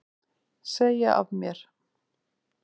Segja af mér